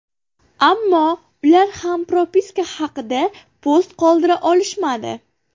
Ammo ular ham propiska haqida post qoldira olishmadi.